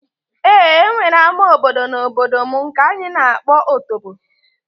Ee, e nwere ama obodo n'obodo m nke anyị na-akpọ Otobo